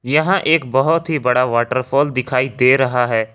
यहां एक बहुत ही बड़ा वॉटरफॉल दिखाई दे रहा है।